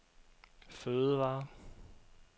fødevarer